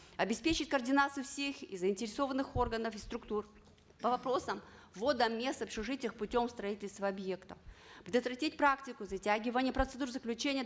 обеспечить координацию всех заинтересованных органов и структур по вопросам ввода мест в общежитиях путем строительства объектов предотвратить практику затягивания процедур заключения